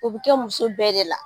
O bi kɛ muso bɛɛ de la.